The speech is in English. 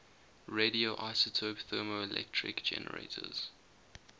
radioisotope thermoelectric generators